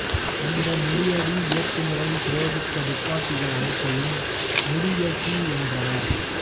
இந்த மூடியடி இயங்குமுறையை பிரயோகித்த துப்பாக்கிகள் அனைத்தையும் மூடியியக்கி என்றனர்